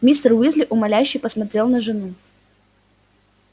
мистер уизли умоляюще посмотрел на жену